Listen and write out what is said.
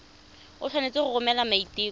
o tshwanetse go romela maiteko